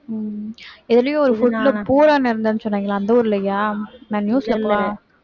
உம் எதுலயோ ஒரு food ல இருந்துதுன்னு சொன்னாங்களே அந்த ஊர்லயா நான் news